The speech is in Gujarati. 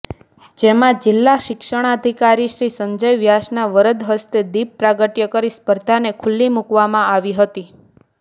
જેમાં જિલ્લા શિક્ષણાધિકારીશ્રી સંજય વ્યાસના વરદ હસ્તે દિપ પ્રાગટ્ય કરી સ્પર્ધાને ખુલ્લી મુકવામાં આવી હતી